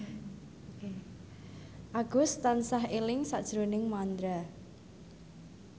Agus tansah eling sakjroning Mandra